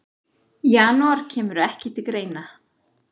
Janúar kemur ekki til greina.